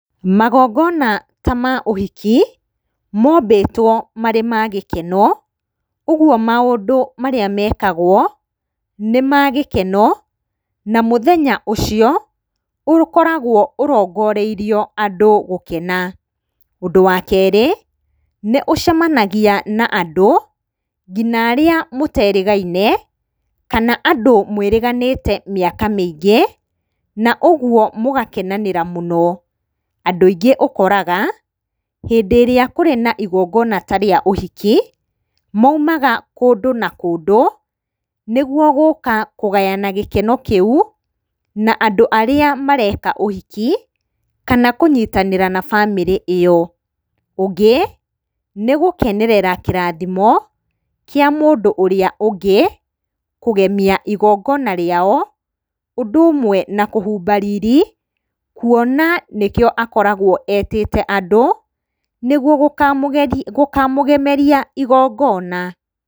Magongona ta ma ũhiki, mombĩtwo marĩ ma gĩkeno, ũguo maũndũ marĩa mekagwo nĩ ma gĩkeno, na mũthenya ũcio ũkoragwo ũrongoreirio andũ gũkena. Ũndũ wa kerĩ, nĩ ũcemanagia na andũ nginya arĩa mũterĩgaine, kana andũ mwĩrĩganĩte mĩaka mĩingĩ, na ũguo mũgakenanĩra mũno. Andũ aingĩ ũkoraga, hĩndĩ ĩrĩa kwĩ na igongona ta rĩa ũhiki, maumaga kũndũ na kũndũ, nĩguo gũka kũgayana gĩkeno kĩu na andũ arĩa mareka ũhiki, kana kũnyitanĩra na bamĩrĩ ĩyo. Ũngĩ, nĩgũkenerera kĩrathimo kĩa mũndũ ũrĩa ũngĩ, kũgemia igongona rĩao, ũndũ ũmwe na kũhumba riri, kuona nĩkĩo akoragwo etĩte andũ, nĩguo gũkamũgemeria igongona.